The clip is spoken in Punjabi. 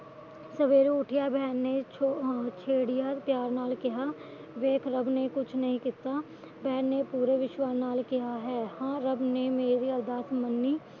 ਸਵੇਰੇ ਉਠਦਿਆ ਭੈਣ ਨੇ ਪਿਆਰ ਨਾਲ ਕਿਹਾ ਵੇਖ ਰੱਬ ਨੇ ਕੁਛ ਨਹੀ ਕੀਤਾ ਤੇ ਮੈ ਪੂਰੇ ਵਿਸ਼ਵਾਸ਼ ਨਾਲ ਕਿਹਾ ਹੈ ਹਾ ਰੱਬ ਨੇ ਮੇਰੀ ਅਰਦਾਸ ਮੰਨੀ